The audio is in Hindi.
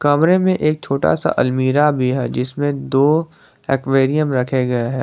कमरे में एक छोटा सा अलमीरा भी है जिसमें दो एक्वेरियम रखे गए हैं।